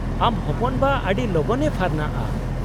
-ᱟᱢ ᱦᱚᱯᱚᱱᱵᱟ ᱟᱹᱰᱤ ᱞᱚᱜᱚᱱᱮ ᱯᱷᱟᱨᱱᱟᱜᱼᱟ ᱾